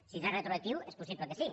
si es fa retroactiu és possible que sí